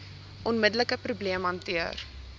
onmiddelike probleem hanteer